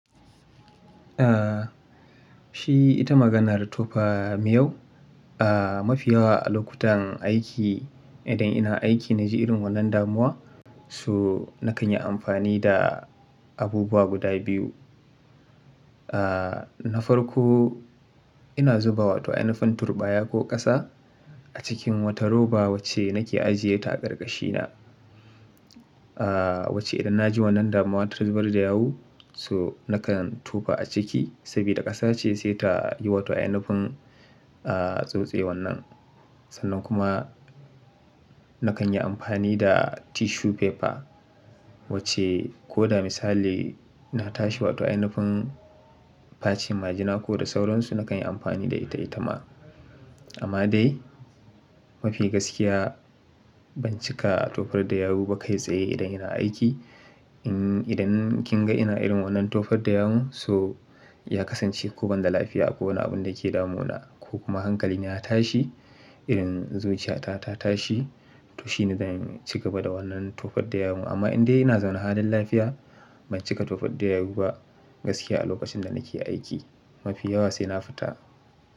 Ah, shi ita maganar tofa miyau. Ah, mafi yawa a lokutan aiki idan ina aiki na ji irin wannan damuwa, so nakan yi amfani da abubuwa guda biyu. Ah, na farko ina zuba wato ainufin turɓaya ko ƙasa a cikin wata roba wacce nake ajiye ta a ƙarƙashina. Ah, wacce idan na ji wannan damuwa ta zubar da yawu so nakan tofa a ciki saboda ƙasa ce sai ta yi wato inufin, ah, tsutsewan nan. Sannan kuma nakan yi amfani da tissue paper wacce ko da misali na tashi wato inufin facin majina ko da sauransu nakan yi amfani da ita-ita ma. Amma dai mafi gaskiya ban cika a tofar da yawu ba kai tsaye idan ina aiki. In idan kin ga ina irin wannan tofar da yawu so ya kasance ko ban da lafiya ko wani abun da ke damunawa ko kuma hankali na ya tashi, irin zuciya ta ta tashi to shi ne zan ci gaba da wannan tofar da yawu. Amma in dai ina zaune halin lafiya ban cika tofar da yawu ba gaskiya a lokacin da nake aiki. Mafi yawa sai na fita.